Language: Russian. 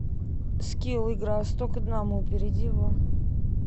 скилл игра сто к одному перейди в